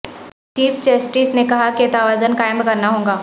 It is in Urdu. چیف جسٹس نے کہا کہ توازن قائم کرنا ہوگا